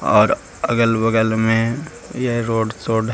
और अगल-बगल में ये रोड सोड --